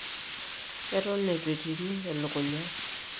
Eton etuetiru elukunya.